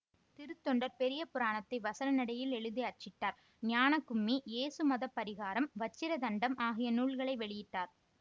திருத்தொண்டர் பெரியபுராணத்தை வசன நடையில் எழுதி அச்சிட்டார் ஞானக்கும்மி யேசுமதபரிகாரம் வச்சிரதண்டம் ஆகிய நூல்களை வெளியிட்டார்